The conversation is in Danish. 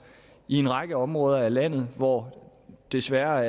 i en række områder af landet hvor vi desværre